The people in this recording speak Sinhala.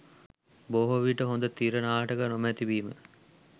බොහෝ විට හොඳ තිර නාටක නොමැති වීම